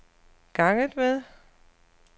ganget med